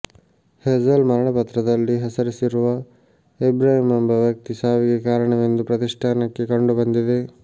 Hazel ಮರಣಪತ್ರದಲ್ಲಿ ಹೆಸರಿಸಿರುವ ಇಬ್ರಾಹಿಂ ಎಂಬ ವ್ಯಕ್ತಿ ಸಾವಿಗೆ ಕಾರಣವೆಂದು ಪ್ರತಿಷ್ಠಾನಕ್ಕೆ ಕಂಡುಬಂದಿದೆ